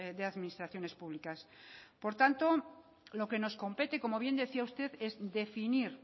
de administraciones públicas por tanto lo que nos compete como bien decía usted es definir